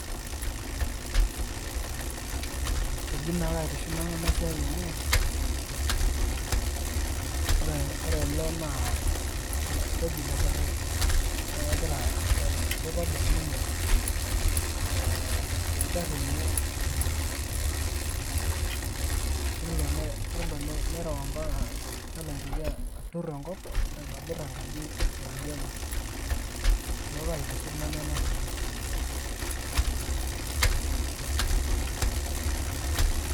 Eji naa kaitiship Nanu ena siai amu ore ele naa keji lepirid naa kegira kitobir ninye eeh enkiti gari enye temodiei nelo ne nelo nereu ompaka nelo aitoki atur enkop aitobir enkaji enye niaku kaitiship Nanu ena pi